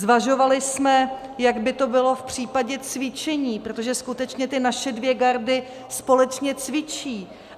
Zvažovali jsme, jak by to bylo v případě cvičení, protože skutečně ty naše dvě gardy společně cvičí.